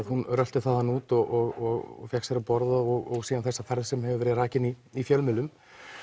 hún rölti þaðan út og fékk sér að borða og síðan þessa ferð sem hefur verið rakin í í fjölmiðlum